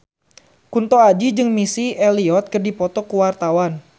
Kunto Aji jeung Missy Elliott keur dipoto ku wartawan